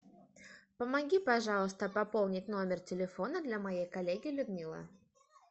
помоги пожалуйста пополнить номер телефона для моей коллеги людмилы